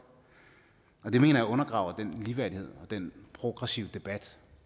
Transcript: og det mener jeg undergraver den ligeværdighed og den progressive debat